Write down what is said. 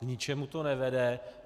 K ničemu to nevede.